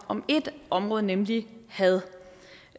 om ét område nemlig had